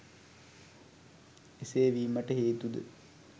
එසේ වීමට හේතුද